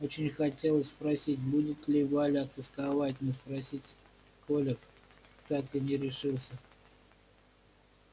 очень хотелось спросить будет ли валя тосковать но спросить коля так и не решился